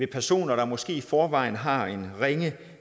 personer der måske i forvejen har ringe ringe